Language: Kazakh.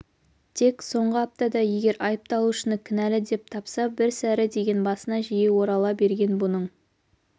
тек соңғы аптада егер айыпталушыны кінәлі деп тапса бір сәрі деген басына жиі орала берген бұның